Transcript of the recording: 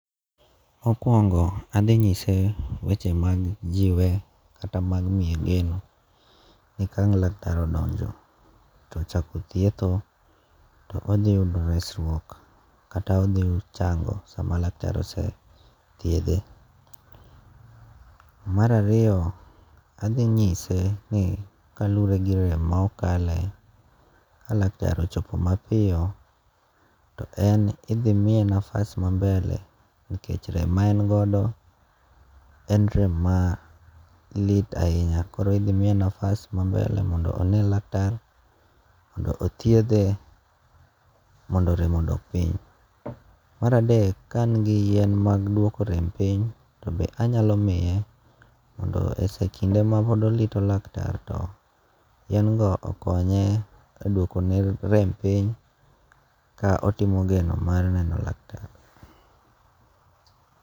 Mokuongo' athi nyise weche mag jiwe kata mag miye geno ni kang' laktar odonjo to ochako thietho to odhiyudo resruok kata othichango sama laktar osethiethe. Marariyo athinyise ni kalure gi rem ma okale ka laktar ochopp mapito, to en ithimiye nafas mambele nikech rem ma en godo en rem malit ahinya koro ithimiye nafas ma mbele mondo one lak tar mondo othiethe mondo rem odok piny. Maradek be ka an gi yiem mag duoko rem piny be anyalo miye mondo e kinde ma podorito lak tar to yiengo okonye e dwoko ne rem piny, ka otimo geno mar neno laktar